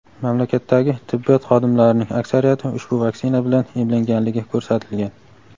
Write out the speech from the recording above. Mamlakatdagi tibbiyot xodimlarining aksariyati ushbu vaksina bilan emlanganligi ko‘rsatilgan.